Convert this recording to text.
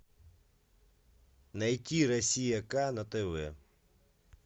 найти россия к на тв